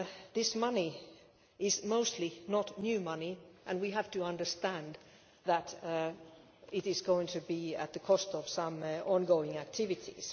This money is mostly not new money, and we have to understand that it is going to be at the cost of some ongoing activities.